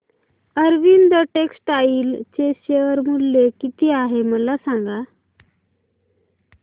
Arvind textile चे share मूल्य किती आहे मला सांगा